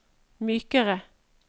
mykere